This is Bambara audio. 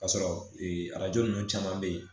Ka sɔrɔ arajo ninnu caman bɛ yen